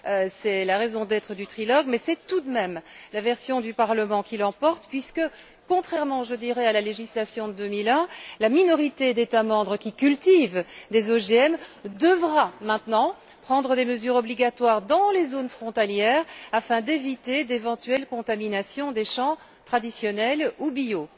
C'est la raison d'être du trilogue mais c'est tout de même la version du Parlement qui l'emporte puisque, contrairement à la législation de 2001, la minorité d'États membres qui cultivent des OGM devra maintenant prendre des mesures obligatoires dans les zones frontalières afin d'éviter d'éventuelles contaminations des champs traditionnels ou bio.